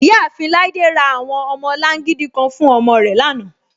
Iyaafin Laide ra awọn ọmọlàngídì kàn fún ọmọ rẹ lánà.